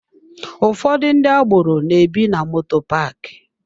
Ụfọdụ ndị agboro na-ebi na moto paaki.